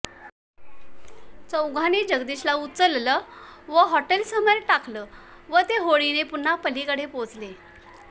चौघांनी जगदीशला उचललं व हॉटेलसमोर टाकलं व ते होडीने पुन्हा पलीकडे पोहोचले